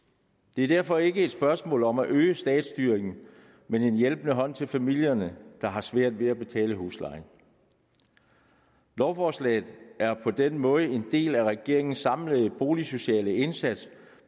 det er derfor ikke et spørgsmål om at øge statsstyringen men en hjælpende hånd til familierne der har svært ved at betale huslejen lovforslaget er på den måde en del af regeringens samlede boligsociale indsats